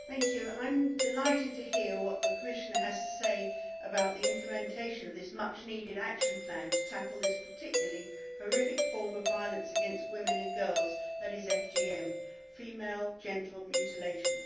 Madam President, I am delighted to hear what the Commissioner has to say about the implementation of this much needed action plan to tackle this particularly horrific form of violence against women and girls that is FGM female genital mutilation.